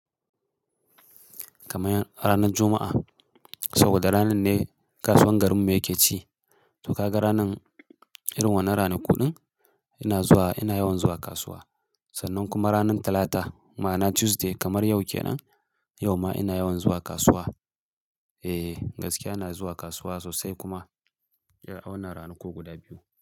Kamar ranar Juma'a saboda ranar ne kasuwar garinmu yake ci. To ka ga ranar irin wannan ranaku kuɗin ina yawan zuwa kasuwa. Sannan kuma ranar Talata ma'ana Tuesday kamar yau kenan, yau ma ina yawan zuwa kasuwa. E gaskiya ina zuwa kasuwa sosai kuma ya a wannan ranaku guda biyu.